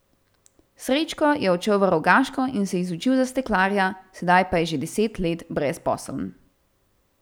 Srečko je odšel v Rogaško in se izučil za steklarja, sedaj pa je že deset let brezposeln.